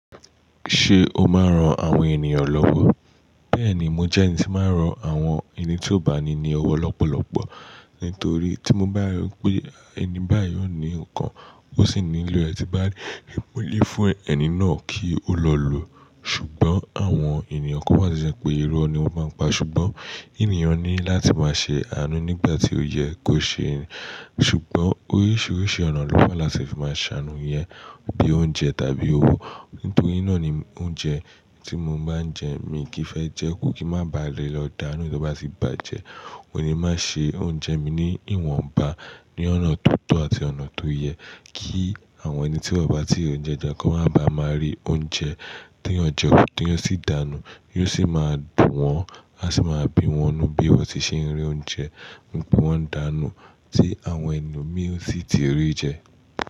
Ṣé o máa ń ran àwọn ènìyàn lọ́wọ́? Bẹ́ẹ̀ni, mo jẹ́ ẹni tí máa ń ran àwọn ẹni tí ó bá ní ni ọwọ́ lọ́pọ̀lọpọ̀. Nítorí tí mo bá rí pé ẹni báyìí ó ní nǹkan, ó sì nílò, ẹ ti bá rí, rí i mú lé fún ẹni náà kí ó lọ lò. Ṣùgbọ́n àwọn ènìyàn kó má ṣe ṣẹ pé irú ẹni wo máa ń pa. Ṣùgbọ́n ènìyàn ní láti máa ṣe àánú nígbà tí ó yẹ kó ṣe ẹ́. Ṣùgbọ́n oríṣiríṣi ọ̀nà ló fà láti fi máa ṣàánú iyẹn bí i oúnjẹ tàbí owó. Nítorí náà ni oúnjẹ tí mo bá ń jẹ, èmi kì í fẹ́ jẹ́ ku kí má ba le lọ dànù tí ó bá sì bàjẹ́. Ó ní má ṣe oúnjẹ mi ní ìwọ̀nba ní ọ̀nà tó tọ́ àti ọ̀nà tó yẹ kí àwọn ẹni tí won bá ti ri ounjẹ je kan má ba máa rí oúnjẹ tí eyan jẹ ku tí eyan sì dànù, yóò sì máa dùn wọ́n, a sì máa bi wọ́nnú bí wọ́n ti ṣe ń rí oúnjẹ, bí wọ́n ń dànù tí àwọn ẹni mìí sì ti rí jẹ.